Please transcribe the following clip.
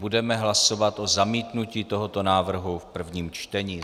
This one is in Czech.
Budeme hlasovat o zamítnutí tohoto návrhu v prvním čtení.